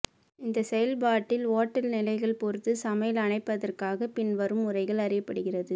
இந்த செயல்பாட்டில் ஓட்ட நிலைகள் பொறுத்து சமையல் அணைப்பதற்காக பின்வரும் முறைகள் அறியப்படுகிறது